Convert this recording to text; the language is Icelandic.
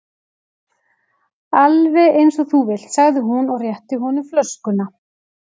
Alveg eins og þú vilt sagði hún og rétti honum flöskuna.